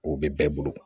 O bɛ bɛɛ bolo